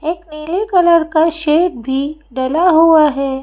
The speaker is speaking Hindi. एक नीले कलर का शेड भी डाला हुआ है।